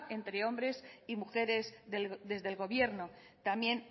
entre hombres y mujeres desde el gobierno también